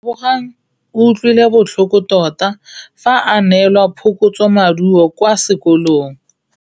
Lebogang o utlwile botlhoko tota fa a neelwa phokotsômaduô kwa sekolong.